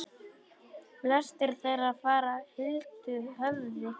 Flestir þeirra fara huldu höfði.